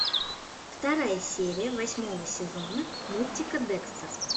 вторая серия восьмого сезона мультика декстер